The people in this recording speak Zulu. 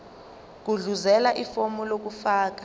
gudluzela ifomu lokufaka